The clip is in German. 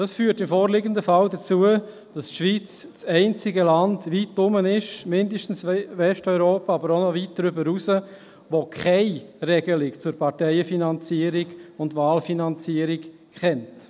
Dies führt im vorliegenden Fall dazu, dass die Schweiz weit herum das einzige Land ist, zumindest in Westeuropa, aber noch weit darüber hinaus, das keine Regelung zur Parteien- und Wahlfinanzierung kennt.